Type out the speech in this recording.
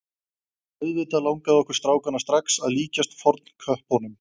Auðvitað langaði okkur strákana strax að líkjast fornköppunum.